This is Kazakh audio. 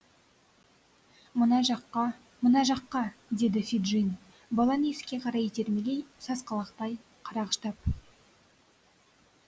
мына жаққа мына жаққа деді феджин баланы есікке қарай итермелей сасқалақтай қарағыштап